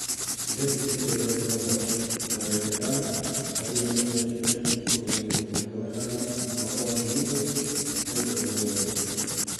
Mbetiri ĩrĩa ĩraihũra mwaki na dagĩka ithano kwanjĩrĩria kwendio tarĩki ikũmi na igĩrĩ mweri wa gatano mwaka wa ngiri igĩrĩ na ikũmi na mũgwanja